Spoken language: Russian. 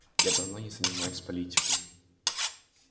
я давно не занимаюсь политикой